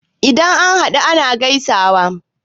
Idan an haɗu ana gaisawa.